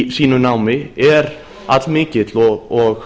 í sínu námi er allmikill og